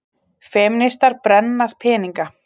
Femínistar brenna peninga